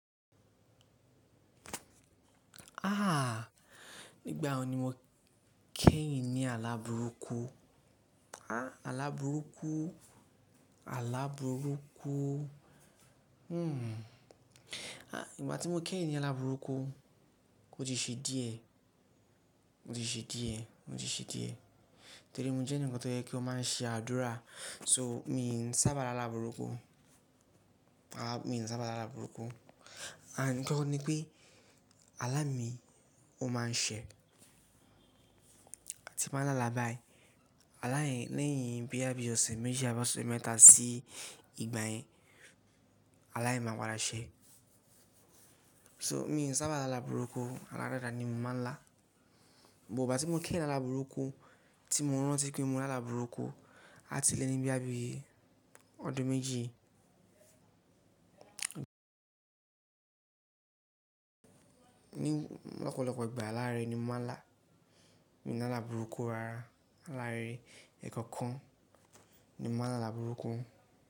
Ah! Nígbà wo ni mo kẹ́yìn ní ala burúkú? Ah! Ala burúkú, ala burúkú. Hmm. Ah! Ìgbà tí mo kẹ́yìn ní ala burúkú, ó ti ṣe díẹ̀, ó ti ṣe díẹ̀, ó ti ṣe díẹ̀. Torí mo jẹ́ ẹni tó jẹ́ kí ó máa ń ṣe àdúrà, so mi n sábà lá ala burúkú. Mi n sábà lá ala burúkú. Àn kí ó ní pé, alámì ó máa ń ṣẹ. Tí mo máa ń lá lá báyìí, aláì lẹ́yìn bí àbí ọ̀sẹ̀ méjì á bá ṣé mẹ́ta sí ìgbà yẹn, aláì máa padà ṣẹ. So mi ò sábà lá ala burúkú, aládàda ni mo máa ń lá. Bò bá ti mo kẹ́yìn lá ala burúkú tí mo rántí pé mo lá ala burúkú, á ti lẹ́ ni bí àbí ọdún méjì. Lọ́pọ̀lọ́pọ̀ ìgbà alárẹ̀ ni mo máa ń lá. Mi ò lá ala burúkú rara. Alárẹ̀ èèkàn kan ni mo máa ń lá ala burúkú.